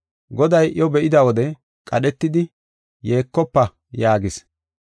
Goday iyo be7ida wode qadhetidi, “Yeekofa” yaagis.